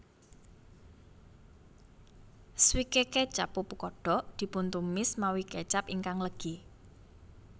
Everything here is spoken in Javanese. Swike kecap pupu kodok dipuntumis mawi kecap ingkang legi